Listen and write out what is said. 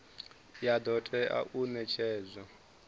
ya do tea u netshedzwa